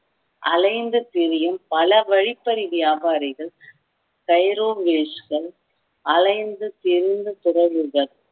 அலைந்து திரியும் பல வழிப்பறி வியாபாரிகள் அலைந்து திரிந்த துறவிகள்